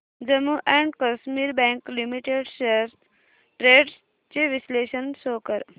Jammu and Kashmir bank limited shares trends चे विश्लेषण show कर